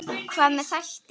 Hvað með þætti?